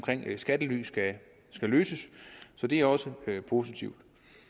skattely skal løses så det er også positivt